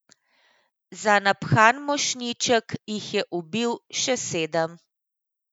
Za naphan mošnjiček jih je ubil še sedem.